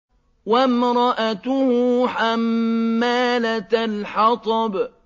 وَامْرَأَتُهُ حَمَّالَةَ الْحَطَبِ